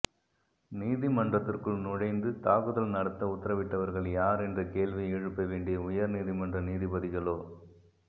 நீதிமன்றத்திற்குள் நுழைந்து தாக்குதல் நடத்த உத்தரவிட்டவர்கள் யார் என்ற கேள்வியை எழுப்ப வேண்டிய உயர் நீதிமன்ற நீதிபதிகளோ